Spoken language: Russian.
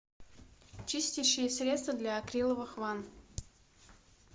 чистящее средство для акриловых ванн